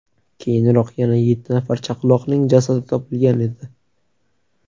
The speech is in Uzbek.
Keyinroq yana yetti nafar chaqaloqning jasadi topilgan edi .